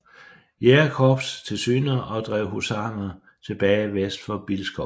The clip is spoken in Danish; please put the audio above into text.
Jægerkorps til syne og drev husarerne tilbage vest for Bilskov